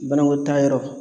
Banakotaayɔrɔ